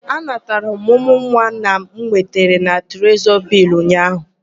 Anatara m ọmụmụ nwa m nwetara na Trezọrị Bịlls ụnyaahụ.